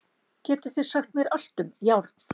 Getið þið sagt mér allt um járn?